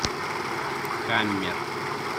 хаммер